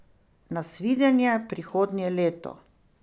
Nasvidenje prihodnje leto!